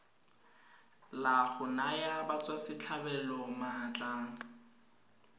la go naya batswasetlhabelo maatla